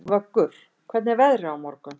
Vöggur, hvernig er veðrið á morgun?